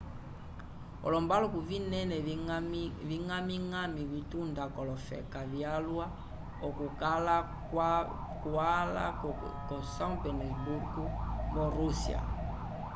olombaluku vinene viñgamiñgami vitunda k'olofeka vyalwa okukala kwala ko são petersburgo vo rússia